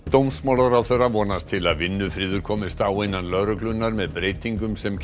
dómsmálaráðherra vonast til að vinnufriður komist á innan lögreglunnar með breytingum sem